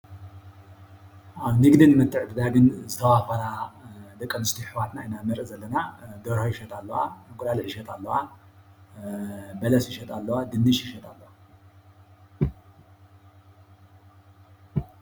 ኣብ ንግድን ምትዕድ ምትዕድዳግን ዝተዋፈራ ወዲ ኣነስይዮ ኣሕዋትና ኢና ንርኢ ዘለና፡፡ ደርሆ ይሸጣ ኣለዋ፣ እንቛቖሖ ይሻጣ ኣለዋ፣ በለስ ይሸጣ ኣለዋ ፣ድንሽ ይሸጣ ኣለዋ፡፡